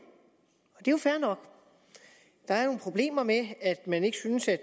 jo fair nok der er nogle problemer med at man ikke synes at